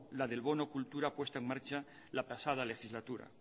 la del bono cultura puesta en marcha la pasada legislatura